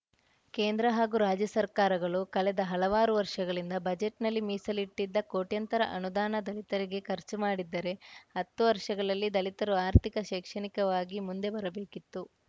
ಕೇಂದ್ರ ಹಾಗೂ ರಾಜ್ಯ ಸರ್ಕಾರಗಳು ಕಳೆದ ಹಲವಾರು ವರ್ಷಗಳಿಂದ ಬಜೆಟ್‌ನಲ್ಲಿ ಮೀಸಲಿಟ್ಟಿದ್ದ ಕೋಟ್ಯಂತರ ಅನುದಾನ ದಲಿತರಿಗೆ ಖರ್ಚು ಮಾಡಿದ್ದರೆ ಹತ್ತು ವರ್ಷಗಳಲ್ಲಿ ದಲಿತರು ಆರ್ಥಿಕ ಶೈಕ್ಷಣಿಕವಾಗಿ ಮುಂದೆ ಬರಬೇಕಿತ್ತು